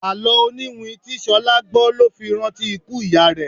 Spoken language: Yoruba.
Àló oniwin tí Ṣolá gbó ló fi rántí ikú ìyá rẹ.